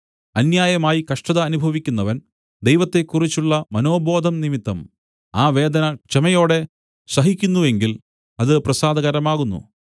അന്യായമായി കഷ്ടത അനുഭവിക്കുന്നവൻ ദൈവത്തെക്കുറിച്ചുള്ള മനോബോധം നിമിത്തം ആ വേദന ക്ഷമയോടെ സഹിക്കുന്നുവെങ്കിൽ അത് പ്രസാദകരമാകുന്നു